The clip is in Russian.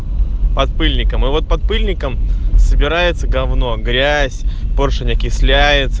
под пыльником и вот под пыльником собирается говно грязь поршень окисляется